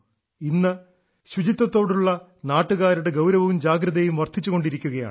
ഇന്ന് ശുചിത്വത്തോടുള്ള നാട്ടുകാരുടെ ഗൌരവവും ജാഗ്രതയും വർദ്ധിച്ചുകൊണ്ടിരിക്കുകയാണ്